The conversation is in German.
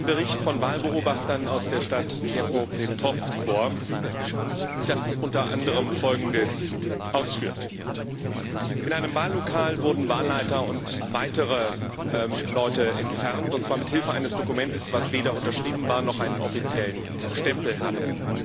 Mir liegt ein Bericht von Wahlbeobachtern aus der Stadt Dnipropetrowsk vor, der unter anderem Folgendes ausführt In einem Wahllokal wurden Wahlleiter und weitere Leute entfernt, und zwar mit Hilfe eines Dokuments, das weder unterschrieben war noch einen offiziellen Stempel hatte.